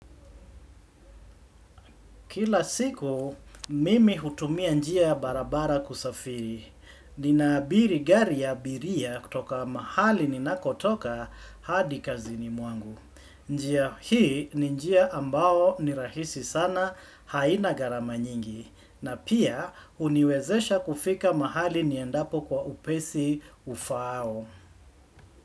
Kila siku, mimi hutumia njia barabara kusafiri. Ninaabiri gari ya abiria kutoka mahali ninakotoka hadi kazini mwangu. Njia hii ninjia ambao nirahisi sana haina garamanyingi. Na pia uniwezesha kufika mahali niendapo kwa upesi ufao.